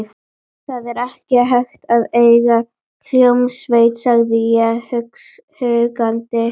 Það er ekki hægt að eiga hljómsveit, sagði ég huggandi.